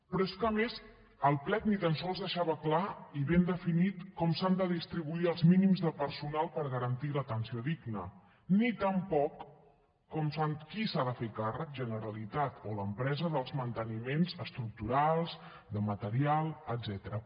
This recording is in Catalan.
però és que a més el plec ni tan sols deixava clar i ben definit com s’han de distribuir els mínims de personal per garantir l’atenció digna ni tampoc qui s’ha de fer càrrec generalitat o l’empresa dels manteniments estructurals de material etcètera